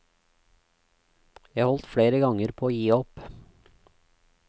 Jeg holdt flere ganger på å gi opp.